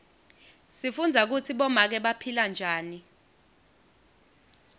sifundza kutsi bomake baphila njani